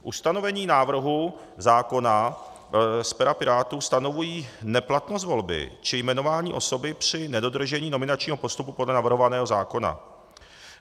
Ustanovení návrhu zákona z pera Pirátů stanovují neplatnost volby či jmenování osoby při nedodržení nominačního postupu podle navrhovaného zákona.